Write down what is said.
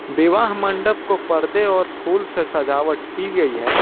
विवाह मंडप को परदे और फूल से सजावट की गई है।